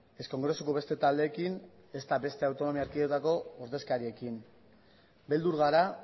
ez kongresuko beste taldeekin ezta beste autonomia erkidetako ordezkariekin beldur gara